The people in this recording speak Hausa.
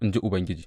in ji Ubangiji.